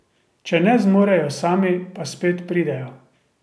Če ne zmorejo sami, pa spet pridejo.